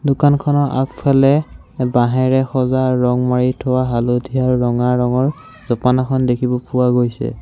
দোকানখনৰ আগফালে বাঁহেৰে সজা ৰঙ মাৰি থোৱা হালধীয়া ৰঙা ৰঙৰ জপানাখন দেখিব পোৱা গৈছে।